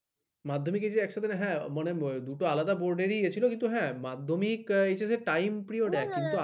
মাধ্যমিক HS নে হ্যা মানে দুটো আলাদা board রই ইয়ে ছিল হ্যাঁ মাধ্যমিক HS time period একই